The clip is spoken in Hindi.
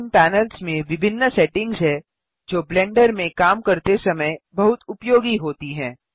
इन पैनल्स में विभिन्न सेटिंग्स हैं जो ब्लेंडर में काम करते समय बहुत उपयोगी होती हैं